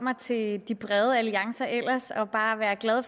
mig til de brede alliancer og bare være glad